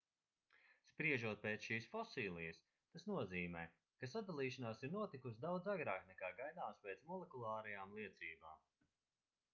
spriežot pēc šīs fosilijas tas nozīmē ka sadalīšanās ir notikusi daudz agrāk nekā gaidāms pēc molekulārajām liecībām